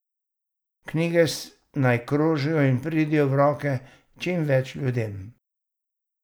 Knjige naj krožijo in pridejo v roke čim več ljudem.